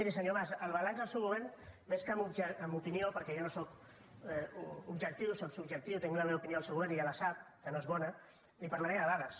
però miri senyor mas el balanç del seu govern més que amb opinió perquè jo no sóc objectiu sóc subjectiu tinc la meva opinió del seu govern i ja la sap que no és bona li parlaré de dades